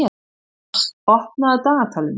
Mars, opnaðu dagatalið mitt.